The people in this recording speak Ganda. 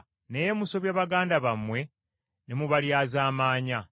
Naye musobya baganda bammwe ne mubalyazaamaanya.